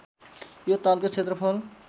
यो तालको क्षेत्रफल